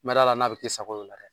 N ma da la n'a bi kɛ i sago ye o la dɛ!